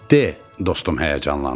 De, dostum həyəcanlandı.